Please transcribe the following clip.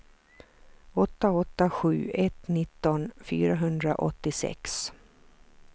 åtta åtta sju ett nitton fyrahundraåttiosex